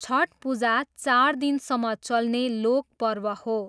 छठ पूजा चार दिनसम्म चल्ने लोक पर्व हो।